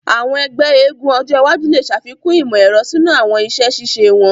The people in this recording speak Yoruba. Àwọn egbé eégún ojo iwájú le ṣàfikún imọ-ẹrọ sínú àwọn iṣẹ ṣiṣe wón.